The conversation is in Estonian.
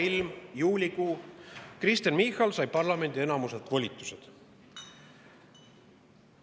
Soe ilm, juulikuu, Kristen Michal sai parlamendi enamuselt volitused.